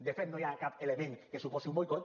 de fet no hi ha cap element que suposi un boicot